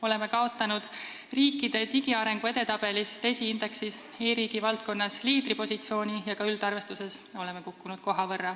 Oleme riikide digiarengu edetabelis, DESI indeksis, kaotanud liidripositsiooni e-riigi valdkonnas ja ka üldarvestuses koha võrra kukkunud.